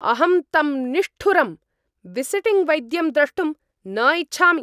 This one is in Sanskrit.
अहं तम् निष्ठुरं, विसिटिंग् वैद्यं द्रष्टुं न इच्छामि।